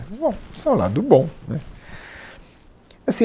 Bom, esse é o lado bom, né. Assim